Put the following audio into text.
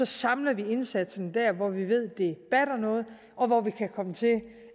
samler vi indsatsen der hvor vi ved det batter noget og hvor vi kan komme til